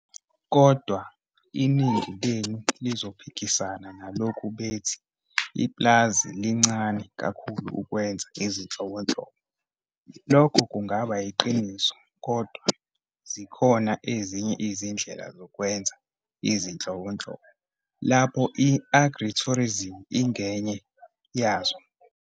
Kodwa, iningi lenu lizophikisana nalokhu bethi ipulazi lincane kakhulu ukwenza izinhlobonhlobo. Lokho kungaba yiqiniso kodwa zikhona ezinye izindlela zokwenza izinhlobonhlobo lapho i-agritourism ingenye yazo.